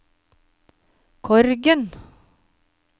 Korgen